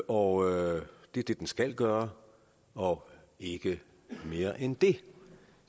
og det er det den skal gøre og ikke mere end det